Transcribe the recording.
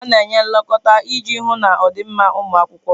A na-enye nlekọta iji hụ na ọ dị mma ụmụ akwụkwọ